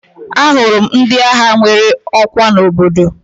Ahụrụ m ndị agha nwere ọkwa n'obodo m